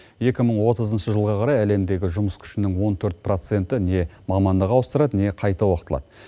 екі мың отызыншы жылға қарай әлемдегі жұмыс күшінің он төрт проценті не мамандық ауыстырады не қайта оқытылады